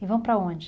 E vão para onde?